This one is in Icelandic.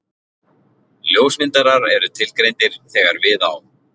Ljósmyndarar eru tilgreindir þegar við á.